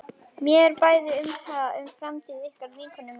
Mér er bæði umhugað um framtíð ykkar og vinkonu minnar.